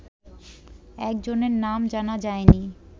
একজনের নাম জানা যায়নি